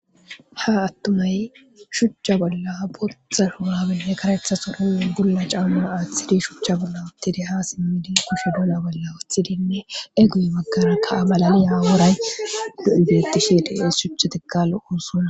ha attumay shuchcha bolla bodxa hohabenoekaretha soronnu gulla caamu aaththidi shuchcha bolla wottide ha simmidi kush bola bolla wuthidinne eguy maggarakka abalaliya wooray du7u bettishi dies shuchchetekkallo uossunna